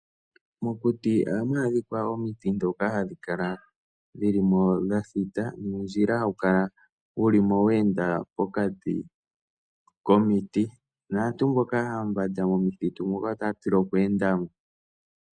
Mokuti ohamu adhika omiti ndhoka hadhi kala dhi li mo dha thita, nuundjila hawu kala weenda pokati komiti. Aantu mboka aambanda mokuti muka otaya tila oku enda mo.